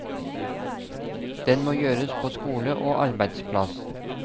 Den må gjøres på skole og arbeidsplass.